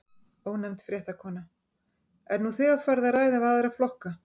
Ónefnd fréttakona: Er nú þegar farið að ræða við aðra flokka?